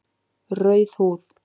Rauð húð